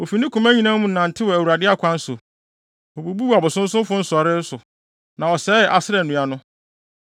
Ofi ne koma nyinaa mu nantew Awurade akwan so. Obubuu abosonsomfo nsɔree so, na ɔsɛee Asera nnua no.